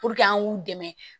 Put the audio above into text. an k'u dɛmɛ